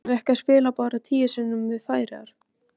Eigum við ekki að spila bara tíu sinnum við Færeyjar?